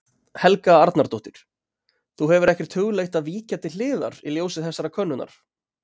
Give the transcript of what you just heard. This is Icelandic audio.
Helga Arnardóttir: Þú hefur ekkert hugleitt að víkja til hliðar í ljósi þessarar könnunar?